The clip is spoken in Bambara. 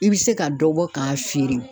I be se ka dɔ bɔ k'a feere